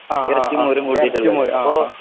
ആ ആ ആ എറച്ചി മോരും ആ ആ